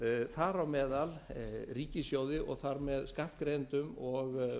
þar á meðal ríkissjóði og þar með skattgreiðendum og